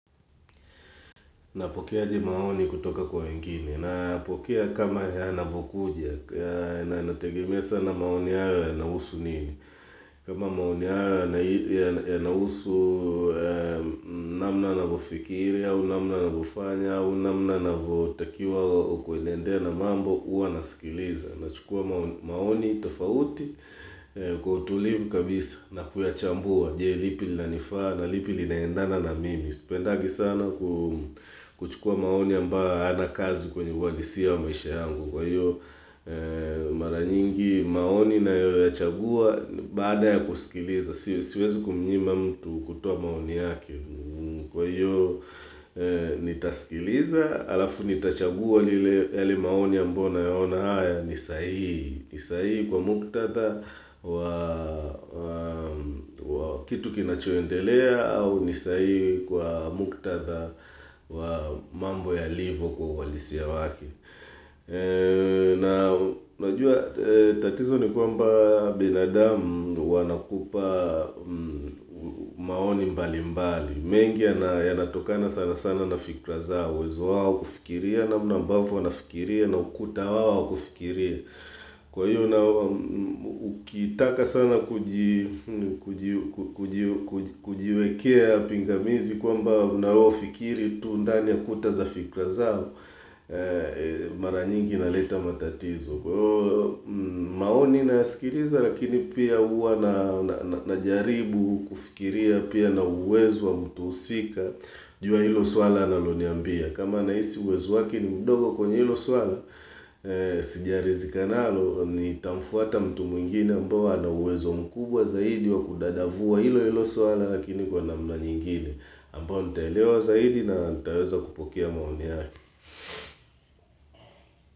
Napokea aje maoni kutoka kwa wengini. Napokea kama yanavokuja, na inategemea sana maoni hayo yanausu nini. Kama maoni hayo yanausu namna navofikiri, au namna navofanya, au namna navotakiwa kwendea na mambo, uwa nasikiliza. Nachukua maoni tofauti kwa utulivu kabisa na kuyachambua je lipi lina nifaa na lipi linaendana na mimi Spendagi sana kuchukua maoni ambayo hayana kazi kwenye ualisia wa maisha yangu Kwa hiyo mara nyingi maoni nayoyachagua baada ya kusikiliza Siwezi kumnyima mtu kutoa maoni yake Kwa hiyo, nitaskiliza alafu nitachagua yale maoni ambao nayaona haya ni sahihi. Ni saii kwa muktatha wa kitu kinachoendelea au ni saii kwa muktatha wa mambo yalivo kwa ualisia wake. Najua tatizo ni kwamba binadamu wanakupa maoni mbali mbali. Mengi yanatokana sana sana na fikra zao uwezo wao kufikiria namna ambavo wanafikiria na ukuta wao wa kufikiria Kwa hiyo na kitaka sana kujiwekea pingamizi kwamba na wafikiri tu ndani ya kuta za fikra zao Mara nyingi naleta matatizo Kwa hivyo maoni nayasikiliza lakini pia huwa najaribu kufikiria pia na uwezo wa mtu husika jua ilo swala analoniambia kama nahisi uwezo wake ni mdogo kwenye ilo swala Sijarizika nalo nitamfuata mtu mwingine ambao ana uwezo mkubwa zaidi wa kudadavua ilo ilo swala lakini kwa namna nyingine ambao nitaelewa zaidi na nitaweza kupokea maoni yake.